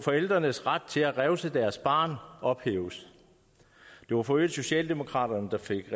forældrenes ret til at revse deres barn ophæves det var for øvrigt socialdemokraterne der fik